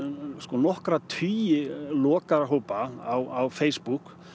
nokkra tugi lokaðra hópa á Facebook